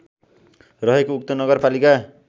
रहेको उक्त नगरपालिका